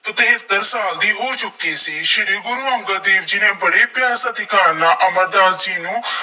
ਤਹੇਤਰ ਸਾਲ ਦੀ ਹੋ ਚੁੱਕੀ ਸੀ। ਸ਼੍ਰੀ ਗੁਰੂ ਅੰਗਦ ਦੇਵ ਜੀ ਨੇ ਬੜੇ ਪਿਆਰ ਸਤਿਕਾਰ ਨਾਲ ਅਮਰਦਾਸ ਜੀ ਨੂੰ